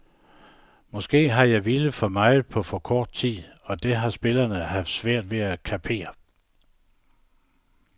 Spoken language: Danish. Måske har jeg villet for meget på for kort tid, og det har spillerne haft svært ved at kapere.